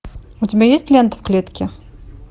у тебя есть лента в клетке